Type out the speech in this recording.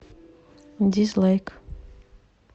дизлайк